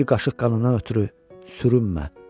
Bir qaşıq qanını ötürü sürünmə.